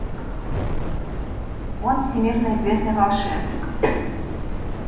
он всемирно известный волшебник